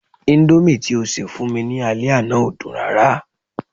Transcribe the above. Indomie ti o ṣe fún mi ni ale àná o dun rara